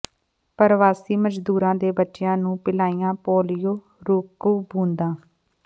ਪਰਵਾਸੀ ਮਜ਼ਦੂਰਾਂ ਦੇ ਬੱਚਿਆਂ ਨੂੰ ਪਿਲਾਈਆਂ ਪੋਲੀਓ ਰੋਕੂ ਬੂੰਦਾਂ